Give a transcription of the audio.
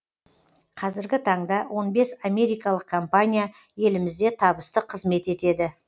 қазіргі таңда он бес америкалық компания елімізде табысты қызмет етеді